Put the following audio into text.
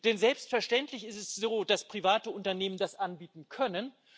Denn selbstverständlich ist es so, dass private Unternehmen das anbieten können.